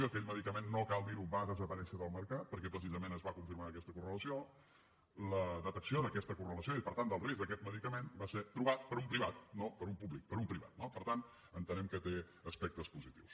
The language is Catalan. aquell medicament no cal dir ho va desaparèixer del mercat perquè precisament es va confirmar aquesta correlació la detecció d’aquesta correlació i per tant del risc d’aquest medicament va ser trobat per un privat no per un públic per un privat no per tant entenem que té aspectes positius